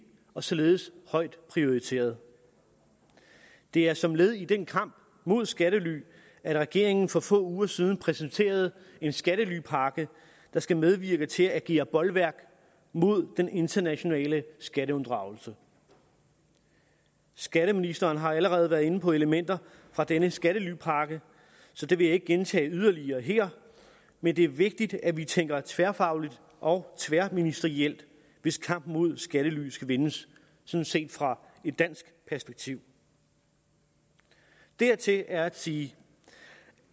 og således højt prioriteret det er som led i den kamp mod skattely at regeringen for få uger siden præsenterede en skattelypakke der skal medvirke til at agere bolværk mod den internationale skatteunddragelse skatteministeren har allerede været inde på elementer fra denne skattelypakke så det vil jeg ikke gentage yderligere her men det er vigtigt at vi tænker tværfagligt og tværministerielt hvis kampen mod skattely skal vindes set fra et dansk perspektiv dertil er at sige